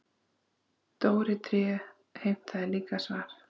Dóri tré heimtaði líka svar.